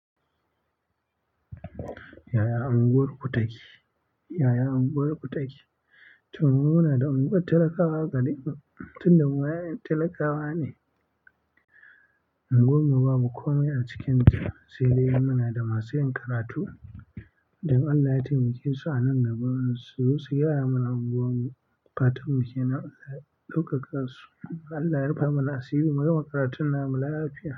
Yaya unguwar ku take? Yaya unguwar ku take? To, mu muna da unguwar talakawa garin mu, tun da mu 'ya'yan talakawa ne. Unguwar mu babu komai a cikinta. Saidai muna da masu yin karatu, da in Allah ya taimake su a nan gaba su zo su gyara mana unguwar mu. Fatan mu ke nan Allah ya ɗaukaka su. Allah ya rufa mana asiri. Mu gama karatun na mu lafiya.